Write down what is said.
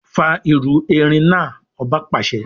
Fà irú erin náà! Ọba pàṣẹ.